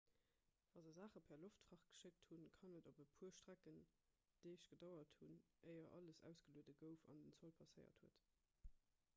wa se saache per loftfracht geschéckt hunn kann et op e puer strecken deeg gedauert hunn éier alles ausgelueden gouf an den zoll passéiert huet